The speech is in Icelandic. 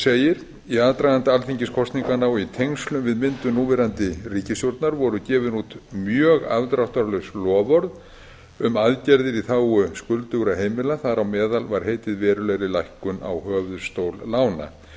segir í aðdraganda alþingiskosninganna og í tengslum við myndun núverandi ríkisstjórnar voru gefin út mjög afdráttarlaus loforð um aðgerðir í þágu skuldugra heimila þar á meðal var heitið verulegri lækkun á höfuðstól lána þetta